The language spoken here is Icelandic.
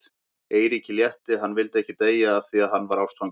Eiríki létti, hann vildi ekki deyja af því að hann var ástfanginn.